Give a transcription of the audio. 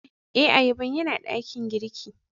Eh, ayaban ya na dakin girki.